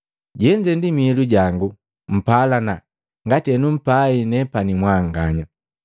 Jenze ndi miilu jangu, mpalana ngati henumpai nepani mwanganya.